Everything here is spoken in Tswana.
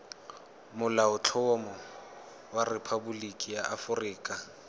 molaotlhomo wa rephaboliki ya aforika